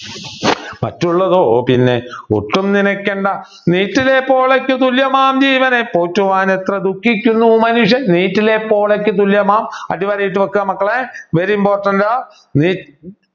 മറ്റുള്ളതോ പിന്നെ ഒട്ടും നിനയ്ക്കണ്ട നീറ്റിലെപോളയ്ക്കു തുല്യമാം ജീവനെ പോറ്റുവാൻ എത്ര ദുഖിക്കുന്നു മനുഷ്യൻ നീറ്റിലെപോളയ്ക്കു തുല്യമാം അടിവരയിട്ടു വെക്കുക മക്കളെ very important ആ